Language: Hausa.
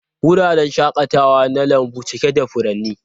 Wuraren shakatawa na lambu cike da furanni.